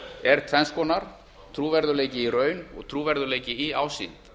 er tvenns konar trúverðugleiki í raun og trúverðugleiki í ásýnd